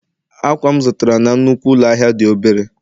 akwa m zụtara na nnukwu ụlọ ahịa dị obere